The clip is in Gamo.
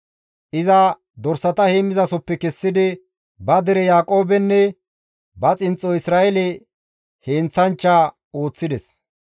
Iza dorsata heemmizasohoppe kessidi ba dere Yaaqoobenne ba xinxxo Isra7eele heenththanchcha ooththides.